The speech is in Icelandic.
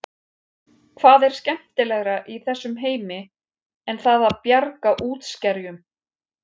Hvað er skemmtilegra í þessum heimi en það að bjarga útskerjum?